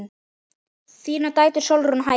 Þínar dætur Sólrún og Heiða.